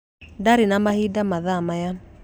Ndirĩ na mahinda mathaa maya.